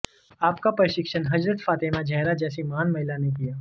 आपका प्रशिक्षण हज़रत फ़ातेमा ज़हरा जैसी महान महिला ने किया